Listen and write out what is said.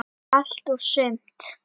Allt og sumt.